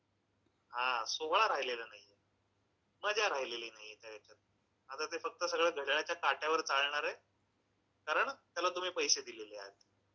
हा, सोहळा राहिलेला नाहीये. मजा राहिलेली नाहीये त्या ह्याच्यात. आता ते फक्त सगळं घड्याळ्याच्या काट्यावर चालणारंय. कारण त्याला तुम्ही पैशे दिलेले आहेत.